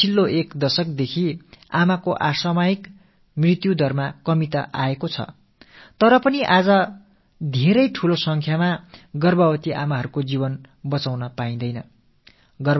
கடந்த பத்தாண்டுகளில் தாய்மார்களின் அகால மரணத்தின் அளவில் வீழ்ச்சி ஏற்பட்டிருப்பது என்னவோ உண்மை தான் என்றாலும் இன்றும் கூட கர்ப்பிணித் தாய்மார்களின் உயிர்களை அதிகமாக நம்மால் காப்பாற்ற இயலாத நிலை நிலவுகிறது